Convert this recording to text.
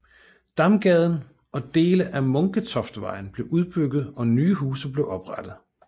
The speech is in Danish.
Damgaden og dele af Munketoftvejen blev udbygget og nye huse blev oprettet